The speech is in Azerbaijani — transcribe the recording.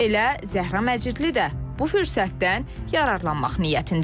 Elə Zəhra Məcidli də bu fürsətdən yararlanmaq niyyətindədir.